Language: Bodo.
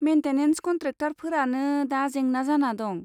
मेन्टेनेन्स कन्ट्रेकटारफोरानो दा जेंना जाना दं।